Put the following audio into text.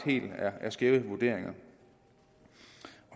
er skæve vurderinger